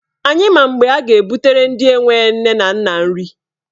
Anyị ma mgbe a ga-ebutere ndị enwe nne na nna nri.